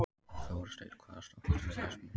Þorsteinn, hvaða stoppistöð er næst mér?